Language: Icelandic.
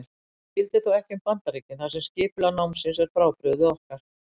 Þetta gildir þó ekki um Bandaríkin þar sem skipulag námsins er frábrugðið okkar.